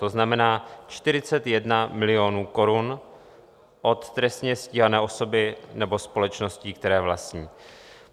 To znamená 41 milionů korun od trestně stíhané osoby nebo společností, které vlastní.